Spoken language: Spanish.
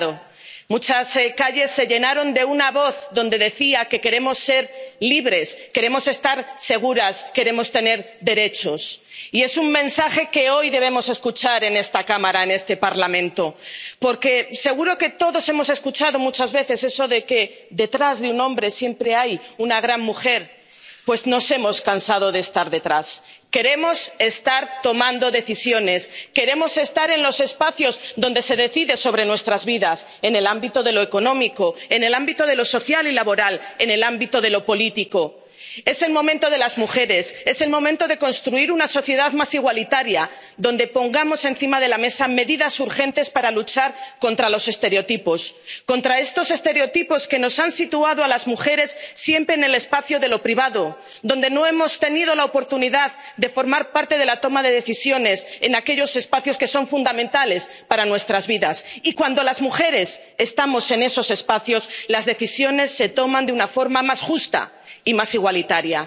Señora presidenta, a pesar de las dificultades y de la situación de excepción que estamos viviendo estos días, el pasado 8 de marzo muchas calles de Europa y de fuera de Europa también se tiñeron de morado. Muchas calles se llenaron de una voz que decía que queremos ser libres, queremos estar seguras, queremos tener derechos. Y es un mensaje que hoy debemos escuchar en esta Cámara, en este Parlamento. Porque seguro que todos hemos escuchado muchas veces eso de que detrás de un hombre siempre hay una gran mujer. Pues nos hemos cansado de estar detrás. Queremos estar tomando decisiones. Queremos estar en los espacios donde se decide sobre nuestras vidas en el ámbito de lo económico, en el ámbito de lo social y laboral, en el ámbito de lo político. Es el momento de las mujeres. Es el momento de construir una sociedad más igualitaria, donde pongamos encima de la mesa medidas urgentes para luchar contra los estereotipos. Contra estos estereotipos que nos han situado a las mujeres siempre en el espacio de lo privado, por lo que no hemos tenido la oportunidad de formar parte de la toma de decisiones en aquellos espacios que son fundamentales para nuestras vidas. Y cuando las mujeres estamos en esos espacios, las decisiones se toman de una forma más justa y más igualitaria.